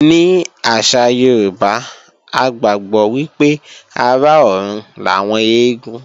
Ní àṣà Yorùbá, a gbàgbọ́ wípé ará ọrùn làwọn eégún